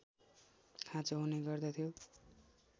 खाँचो हुने गर्दथ्यो